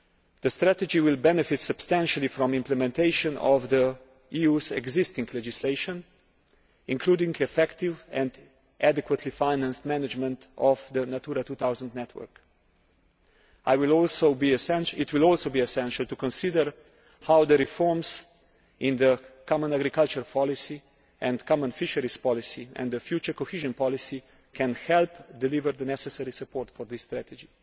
The strategy will benefit substantially from implementation of the EU's existing legislation, including effective and adequately financed management of the Natura 2000 network. It will also be essential to consider how reforms to the common agricultural policy and common fisheries policy and the future cohesion policy can help deliver the necessary support for this strategy.